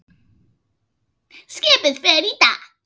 Skipið fer í dag.